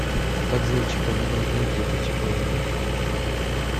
как зовут чиполлино из мультика чиполлино